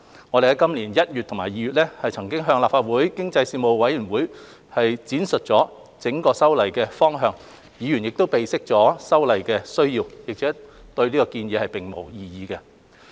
我們於今年1月及2月已向立法會經濟發展事務委員會闡述修例的整體方向，議員備悉修例的需要，對建議並無異議。